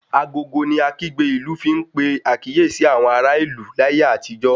Agogo ni akígbe ìlú fi n pe àkíyèsí àwọn ará ìlú láyé àtijó